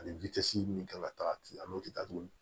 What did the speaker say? Ani min kan ka taga ten an b'o kɛ tuguni